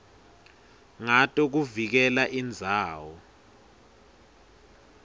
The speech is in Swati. ngato kuvikela indzawo